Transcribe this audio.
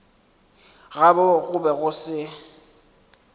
gabo go be go se